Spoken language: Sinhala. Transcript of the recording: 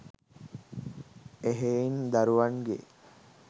එහෙයින් දරුවන්ගේ